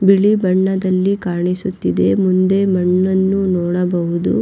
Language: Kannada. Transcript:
ಬಿಳಿ ಬಣ್ಣದಲ್ಲಿ ಕಾಣಿಸುತ್ತಿದೆ ಮುಂದೆ ಮಣ್ಣನ್ನು ನೋಡಬಹುದು.